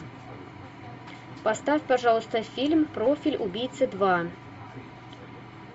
поставь пожалуйста фильм профиль убийцы два